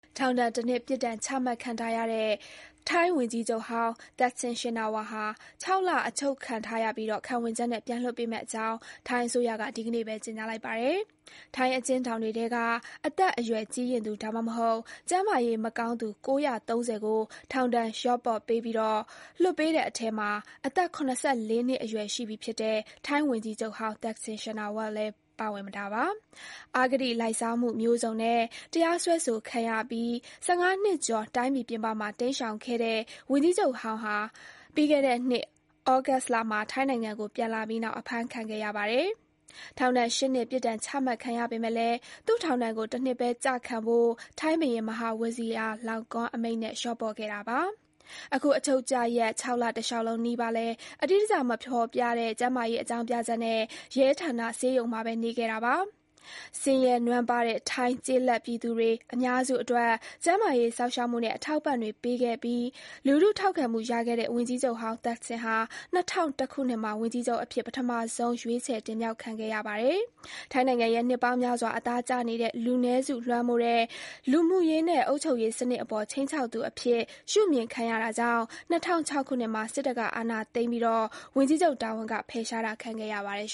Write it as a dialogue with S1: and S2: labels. S1: ထောင်ဒဏ်တနှစ် ပြစ်ဒဏ်ချမှတ်ခံထားတဲ့ ထိုင်းဝန်ကြီးချုပ်ဟောင်း သက်ဆင် ရှင်နာဝပ်ဟာ ၆ လ အချုပ်ခံရပြီး ခံဝန်ချက်နဲ့ ပြန်လွှတ်ပေးမယ့်အကြောင်း ထိုင်းအစိုးရက ဒီကနေ့ပဲ ကြေညာလိုက်ပါတယ်။ ထိုင်းအကျဉ်းထောင်တွေထဲက အသက် အရွယ်ကြီးရင့်သူ ဒါမှမဟုတ် ကျန်းမာရေးမကောင်းသူ ၉၃၀ ကို ထောင်ဒဏ် လျှော့ပေါ့ပြီး စောစော လွှတ်ပေးတဲ့အထဲမှာ အသက် ၇၄ နှစ် အရွယ်ရှိပြီဖြစ်တဲ့ ထိုင်းဝန်ကြီးချုပ်ဟောင်း သက်ဆင် ရှင်နာဝပ် လည်း ပါဝင်သွားတာပါ။ အဂတိလိုက်စားမှုမျိုးစုံနဲ့ တရားစွဲဆိုခံရပြီး ၁၅ နှစ်ကျော် တိုင်းပြည်ပြင်ပမှာ တိမ်းရှောင်ခဲ့တဲ့ ဝန်ကြီးချုပ်ဟောင်း သက်ဆင် ဟာ ပြီးခဲ့တဲ့နှစ် ဩဂုတ်လမှာ ထိုင်းနိုင်ငံကို ပြန်လာပြီး အဖမ်းခံခဲ့ပါတယ်။ ထောင်ဒဏ် ၈ နှစ် ပြစ်ဒဏ်ချမှတ်ခံရပေမဲ့လည်း သူ့ ထောင်ဒဏ်ကို တနှစ်ပဲ ကျခံဖို့ ထိုင်းဘုရင် Maha Vajiralongkor အမိန့်နဲ့ လျှေ့ပေါ့ပေးခဲ့ပါတယ်။ အခု အချုပ်ကျရက် ၆ လ တလျှောက်လုံးနီးပါးလည်း အတိအကျ မဖေါ်ပြတဲ့ ကျန်းမာရေး အကြောင်းပြချက်နဲ့ ရဲဌာန ဆေးရုံမှာပဲ နေခဲ့တာပါ။ ဆင်းရဲနွမ်းပါးတဲ့ ထိုင်း ကျေးလက်ပြည်သူတွေအများစုအတွက် ကျန်းမာရေး စောင့်ရှောက်မှုနဲ့ အထောက်အပံ့တွေပေးခဲ့ပြီး လူထုထောက်ခံမှုရခဲ့တဲ့ ဝန်ကြီးချုပ်ဟောင်း သက်ဆင်ဟာ ၂၀၀၁ ခုနှစ်မှာ ဝန်ကြီးချုပ်အဖြစ် ပထမဆုံး ရွေးချယ်တင်မြှောက်ခံခဲ့ရပါတယ်။ ထိုင်းနိုင်ငံရဲ့ နှစ်ပေါင်းများစွာ အသားကျနေတဲ့ လူနည်းစု လွှမ်းမိုးတဲ့ လူမှုရေးနဲ့ အုပ်ချုပ်ရေးစနစ်အပေါ် ခြိမ်းခြောက်သူအဖြစ် ရှုမြင်ခံရတာကြောင့် ၂၀၀၆ ခုနှစ်မှာ စစ်တပ်က အာဏာသိမ်းပြီး ဝန်ကြီးချုပ်တာဝန်က ဖယ်ရှားတာခံခဲ့ရပါတယ်